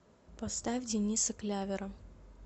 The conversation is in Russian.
поставь дениса клявера